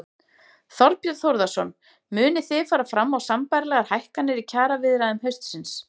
Þorbjörn Þórðarson: Munið þið fara fram á sambærilegar hækkanir í kjaraviðræðum haustsins?